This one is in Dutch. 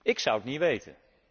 Ik zou het niet weten.